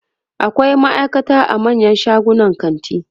akwai maaikata a manyan shagunan kanti